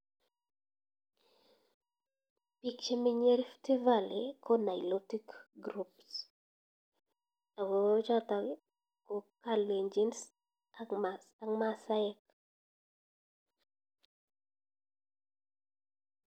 Piik che menye rift valley ko nilotic group ako chotok ko kalenjin ak maasaek